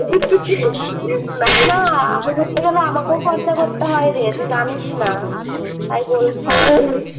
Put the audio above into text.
না না আমি ঘুরতে গেলে আমাকেও খরচা করতে হয় রে তুই জানিস না তাই বল